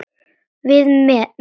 Við með.